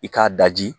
I k'a daji